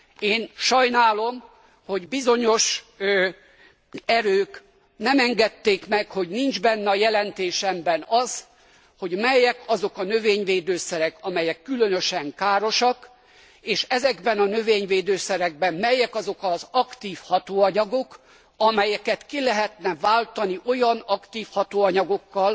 Én sajnálom, hogy bizonyos erők nem engedték meg, hogy nincs benne a jelentésemben az, hogy melyek azok a növényvédőszerek, amelyek különösen károsak, és ezekben a növényvédőszerekben melyek azok az aktív hatóanyagok, amelyeket ki lehetne váltani olyan aktív hatóanyagokkal,